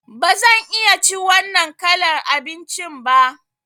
Ba zan iya cin wannan kalar abincin ba.